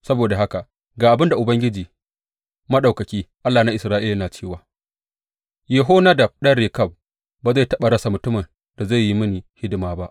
Saboda haka, ga abin da Ubangiji Maɗaukaki, Allah na Isra’ila, yana cewa, Yehonadab ɗan Rekab ba zai taɓa rasa mutumin da zai yi mini hidima ba.